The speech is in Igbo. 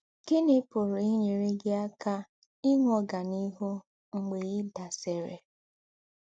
Gíní pùrù ínyérè gí àká ìnwé ọ́ganíhù mgbè ì̀ dàsìrì?